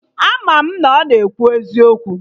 Ama m na ọ na ekwu eziokwu